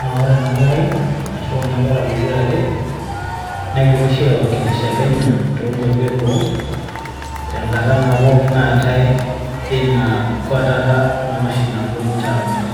naa ore ena kerai, ashu ore kuna kera pokira are egira oshi aiwakilisha kenya. too nkwapi eboo, tenkata naa naatae ina kwetata naa oshi napuo ninche aakwet.